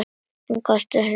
Hún hikaði aðeins.